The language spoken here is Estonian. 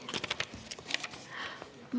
Nii.